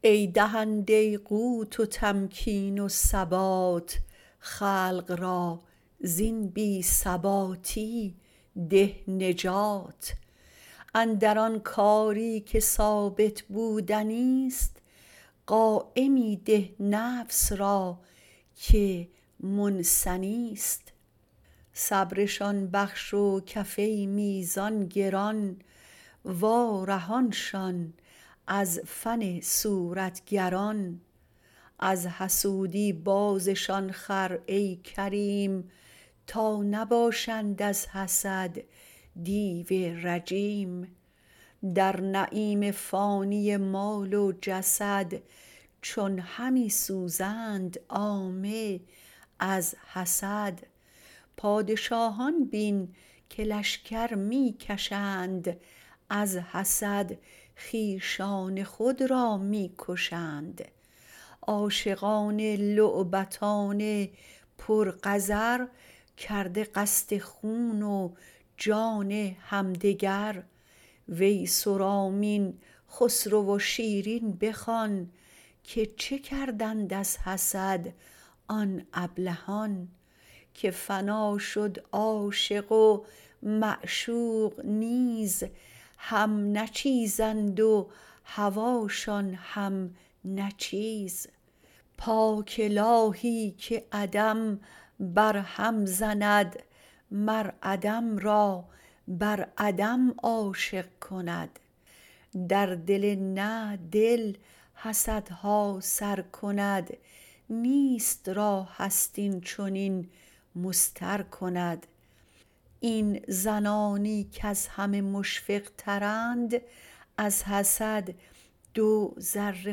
ای دهنده قوت و تمکین و ثبات خلق را زین بی ثباتی ده نجات اندر آن کاری که ثابت بودنیست قایمی ده نفس را که منثنیست صبرشان بخش و کفه میزان گران وا رهانشان از فن صورتگران وز حسودی بازشان خر ای کریم تا نباشند از حسد دیو رجیم در نعیم فانی مال و جسد چون همی سوزند عامه از حسد پادشاهان بین که لشکر می کشند از حسد خویشان خود را می کشند عاشقان لعبتان پر قذر کرده قصد خون و جان همدگر ویس و رامین خسرو و شیرین بخوان که چه کردند از حسد آن ابلهان که فنا شد عاشق و معشوق نیز هم نه چیزند و هواشان هم نه چیز پاک الهی که عدم بر هم زند مر عدم را بر عدم عاشق کند در دل نه دل حسدها سر کند نیست را هست این چنین مضطر کند این زنانی کز همه مشفق تراند از حسد دو ضره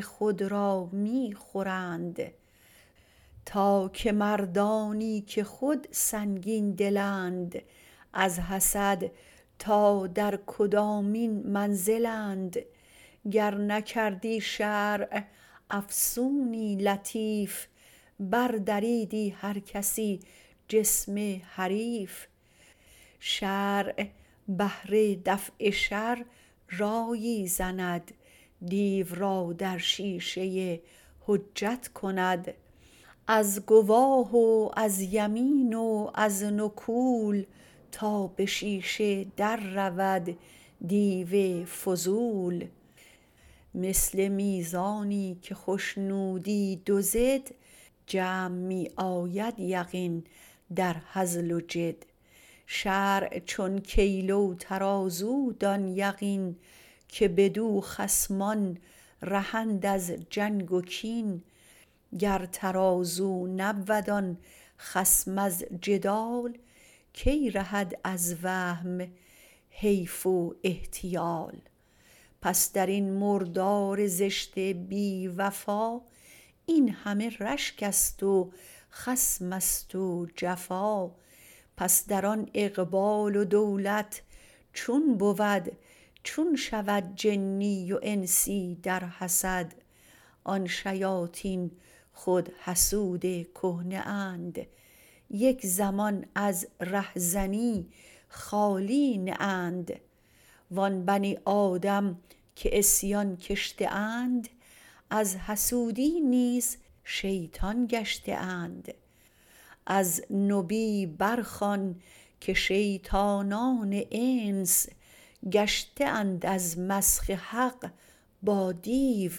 خود را می خورند تا که مردانی که خود سنگین دلند از حسد تا در کدامین منزلند گر نکردی شرع افسونی لطیف بر دریدی هر کسی جسم حریف شرع بهر دفع شر رایی زند دیو را در شیشه حجت کند از گواه و از یمین و از نکول تا به شیشه در رود دیو فضول مثل میزانی که خشنودی دو ضد جمع می آید یقین در هزل و جد شرع چون کیله و ترازو دان یقین که بدو خصمان رهند از جنگ و کین گر ترازو نبود آن خصم از جدال کی رهد از وهم حیف و احتیال پس درین مردار زشت بی وفا این همه رشکست و خصمست و جفا پس در آن اقبال و دولت چون بود چون شود جنی و انسی در حسد آن شیاطین خود حسود کهنه اند یک زمان از ره زنی خالی نه اند وآن بنی آدم که عصیان کشته اند از حسودی نیز شیطان گشته اند از نبی برخوان که شیطانان انس گشته اند از مسخ حق با دیو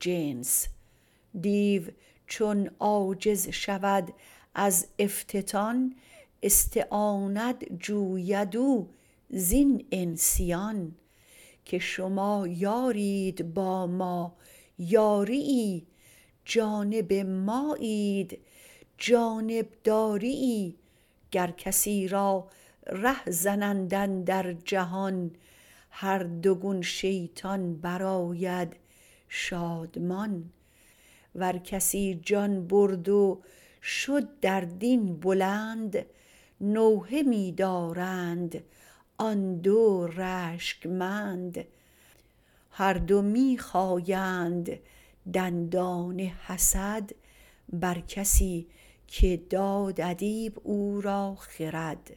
جنس دیو چون عاجز شود در افتتان استعانت جوید او زین انسیان که شما یارید با ما یاریی جانب مایید جانب داریی گر کسی را ره زنند اندر جهان هر دو گون شیطان بر آید شادمان ور کسی جان برد و شد در دین بلند نوحه می دارند آن دو رشک مند هر دو می خایند دندان حسد بر کسی که داد ادیب او را خرد